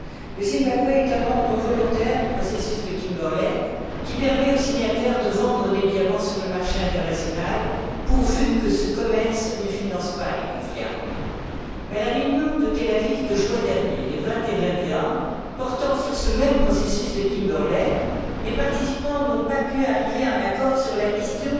Le Zimbabwe est un membre volontaire du processus de Kimberley, qui permet aux signataires de vendre des diamants sur le marché international pourvu que ce commerce ne finance pas les conflits armés. Mais, au cours de la réunion des 20 et 21 juin à Tel Aviv portant sur ce même processus de Kimberley, les participants n'ont pas pu arriver à un accord sur la question